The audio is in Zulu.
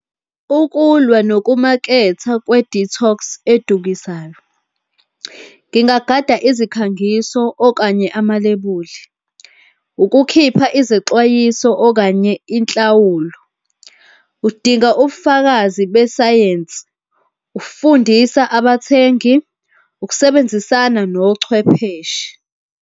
Ukulwa nokumaketha kwe-detox edukisayo. Ngingagada izikhangiso okanye amalebuli, ukukhipha izexwayiso, okanye inhlawulo. Udinga ubufakazi besayensi, ufundisa abathengi, ukusebenzisana nochwepheshe.